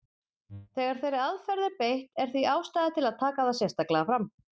Þegar þeirri aðferð er beitt er því ástæða til að taka það sérstaklega fram.